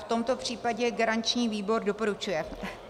V tomto případě garanční výbor doporučuje.